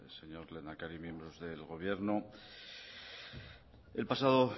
señor lehendakari miembros del gobierno el pasado